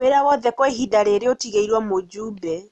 Wĩra wothe kwa ihinda rĩrĩ ũtigĩirwo mũjumbe